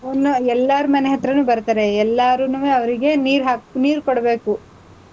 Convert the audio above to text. ಎಲ್ಲಾರ್ ಮನೆ ಹತ್ರನು ಬರ್ತಾರೆ, ಎಲ್ಲಾರುನುವೆ ಅವರಿಗೆ ನೀರ್ ಹಾಕ್ ನೀರ್ ಕೊಡ್ಬೇಕು.